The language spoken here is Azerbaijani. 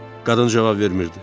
Qadın cavab vermirdi.